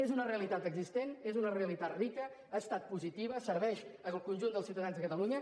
és una realitat existent és una realitat rica ha estat positiva serveix al conjunt dels ciutadans de catalunya